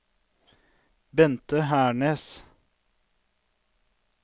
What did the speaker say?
Bente Hernes